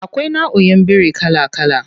Akwai nauʼin biri kala kala.